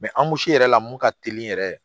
an gosi yɛrɛ la mun ka teli yɛrɛ